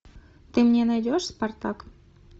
ты мне найдешь спартак